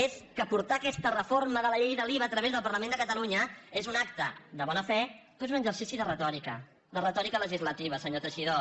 és que portar aquesta reforma de la llei de l’iva a través del parlament de catalunya és un acte de bona fe però és un exercici de retòrica de retòrica legislativa senyor teixidó